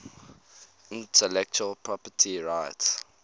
intellectual property rights